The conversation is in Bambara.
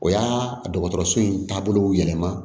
O y'a dɔgɔtɔrɔso in taabolo yɛlɛma